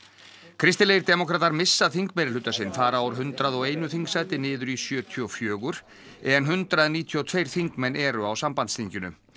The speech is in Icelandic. kristilegir demókratar missa þingmeirihluta sinn fara úr hundrað og eitt þingsæti niður í sjötíu og fjögur en hundrað níutíu og tvö þingmenn eru á sambandsþinginu